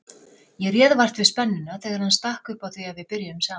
Ég réð vart við spennuna þegar hann stakk upp á því að við byrjuðum saman.